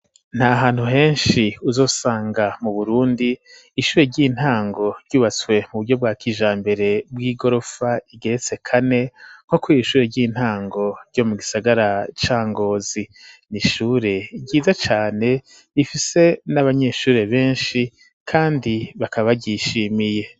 Nta hantu henshi uzosanga mu burundi ishure ry'intango ryubatswe mu buryo bwa kijambere bw'igorofa igeretse kane nko kw'ishure ry'intango ryo mu gisagara cangozi, n'ishure ryiza cane bifise n'abanyeshure benshi kandi bakaba gishimiye.